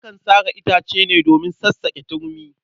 Akan sare itace ne domin sassaƙe turmi.